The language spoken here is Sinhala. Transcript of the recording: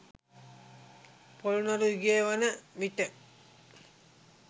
පොළොන්නරු යුගය වන විට